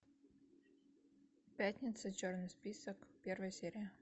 пятница черный список первая серия